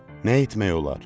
Nə etmək olar?